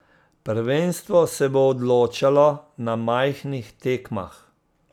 Prvenstvo se bo odločalo na majhnih tekmah.